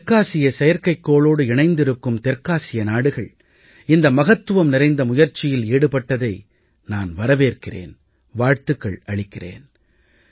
இந்த தெற்காசிய செயற்கைக்கோளோடு இணைந்திருக்கும் தெற்காசிய நாடுகள் இந்த மகத்துவம் நிறைந்த முயற்சியில் ஈடுபட்டதை நான் வரவேற்கிறேன் வாழ்த்துக்கள் அளிக்கிறேன்